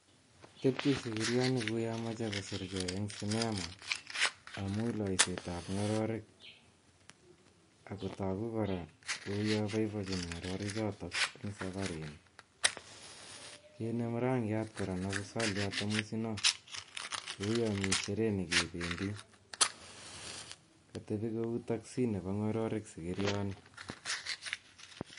Tepchei sikirioni koune mechei koserkei eng cinema amun loisetab ngororik ako toku kora kole boiboi ngorori choto eng safarini. Inemu rangiat kora neu saliat tamusino kouyo mi sherehe nekebendi, katebi kou taxi nebo ngororik sikirioni.